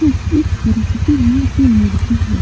ये एक सरस्वती माँ की मूर्ति है।